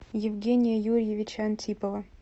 евгения юрьевича антипова